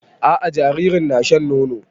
A'a jaririn na shan nono